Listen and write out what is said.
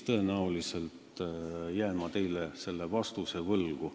Tõenäoliselt jään ma teile vastuse võlgu.